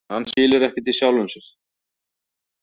Hann skilur ekkert í sjálfum sér.